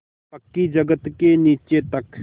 पक्की जगत के नीचे तक